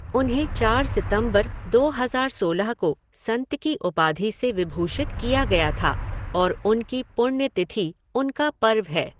उन्हें चार सितंबर दो हज़ार सोलह को संत की उपाधि से विभूषित किया गया था और उनकी पुण्यतिथि उनका पर्व है।